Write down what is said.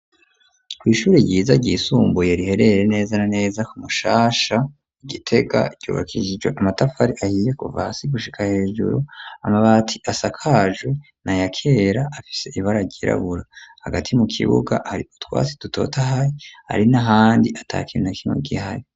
kw'ishuri ryiza ryisumbuye riherereye neza na neza ku Mushasha Igitega cubakishijwe amatafari ahiye kuva hasi gushika hejuru amabati asakajwe na yakera afise ibara ryirabura hagati mu kibuga hari utwatsi dutotahaye hari n'ahandi atakintu na kinwe gihari.